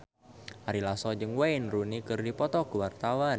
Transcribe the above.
Ari Lasso jeung Wayne Rooney keur dipoto ku wartawan